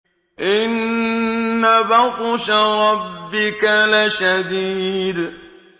إِنَّ بَطْشَ رَبِّكَ لَشَدِيدٌ